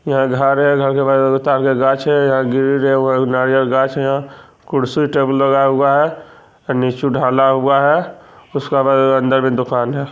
यहाँ घर है घर के बाहर नारियल गाछ है एगो नारियल गाछ है कुर्सी टेबल लगा हुआ है नीचे ढाला हुआ है अंदर में दुकान है।